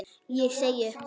Ég segi upp!